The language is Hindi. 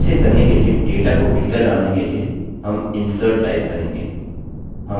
इसे करने के लिए डेटा को भीतर डालने के लिए हम insert टाइप करेंगे